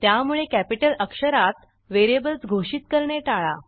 त्यामुळे कॅपिटल अक्षरात व्हेरिएबल्स घोषित करणे टाळा